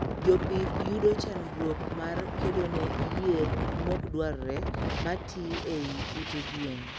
Jopith yudo chandruok mar kedone yier mokdwarre matii eiy ute gwen